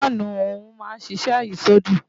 Fáànù ọ̀hún máa ń ṣiṣẹ́ àyísódì